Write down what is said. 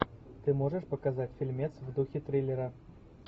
ты можешь показать фильмец в духе триллера